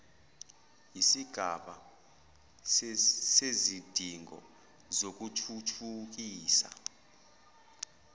yisigaba sezidingo zokuthuthukisa